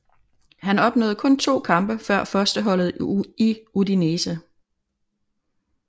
Han opnåede kun 2 kampe for førsteholdet i Udinese